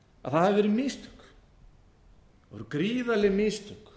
að það hafi verið mistök það voru gríðarleg mistök